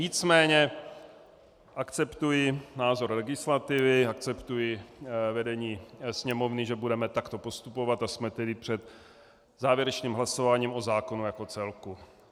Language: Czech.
Nicméně akceptuji názor legislativy, akceptuji vedení Sněmovny, že budeme takto postupovat, a jsme tedy před závěrečným hlasováním o zákonu jako celku.